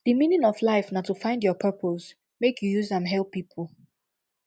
di meaning of life na to find your purpose make you use am help pipo